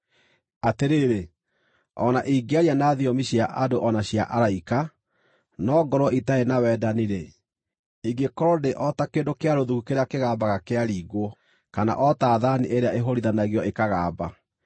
Atĩrĩrĩ, o na ingĩaria na thiomi cia andũ o na cia araika, no ngorwo itarĩ na wendani-rĩ, ingĩkorwo ndĩ o ta kĩndũ kĩa rũthuku kĩrĩa kĩgambaga kĩaringwo, kana o ta thaani ĩrĩa ĩhũũrithanagio ĩkagamba.